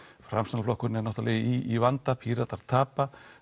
framsóknarflokkurinn er náttúrulega í vanda Píratar tapa